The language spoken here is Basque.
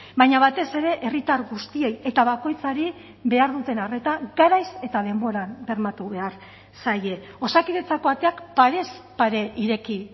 baina batez ere herritar guztiei eta bakoitzari behar duten arreta garaiz eta denboran bermatu behar zaie osakidetzako ateak parez pare ireki